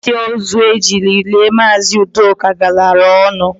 Akpatị ózu e jiri lie Maazị ụdoka galara ọnụ